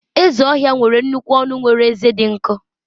ezi ohia nwere nnukwu ọnụ nwere ezé dị nkọ